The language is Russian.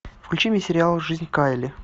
включи мне сериал жизнь кайли